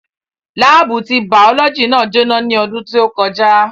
Láábù ti bàọ́lọ́jì náà jó ná ní ọdún tí ó kọjá